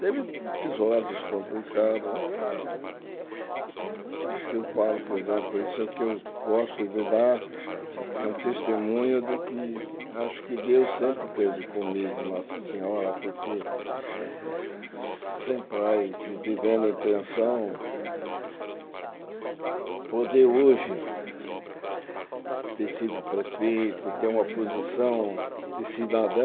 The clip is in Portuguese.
Teve episódios complicados, mas é... Eu falo, por exemplo, isso que eu gosto de dar é um testemunho de que acho que Deus sempre esteve comigo, Nossa Senhora, porque sem pai, e vivendo em pensão, poder hoje ter sido prefeito, ter uma posição de cidadão,